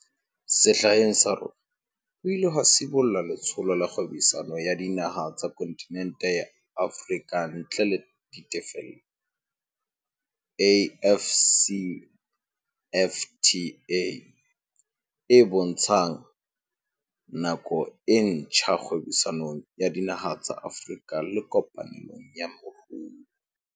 Sehleng sa rona ho ile ha sibollwa Letsholo la Kgwebisano ya Dinaha tsa Kontinente ya Afrika ntle le Ditefello, AFCFTA, e bontshang nako e ntjha kgwebisanong ya dinaha tsa Afrika le kopanelong ya moruo.